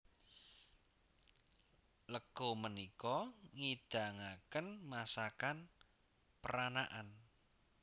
Leko menika ngidangaken masakan peranakan